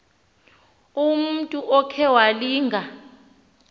umntu okhe walinga